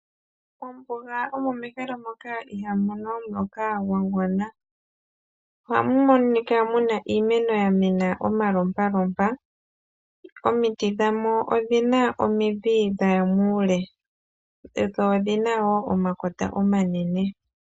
Mombuga omo mehala moka ihamu mono omuloka gwa gwana. Ohamu monika mu na iimeno ya mena omalompalompa. Omiti dhamo odhi na omidhi dha ya muule dho odhi na wo omakota omanene.